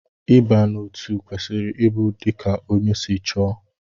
Ịba n'otu kwesịrị ịbụ dika ónyé si chọọ.